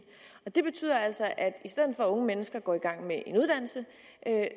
og det betyder altså at unge mennesker går i gang med en uddannelse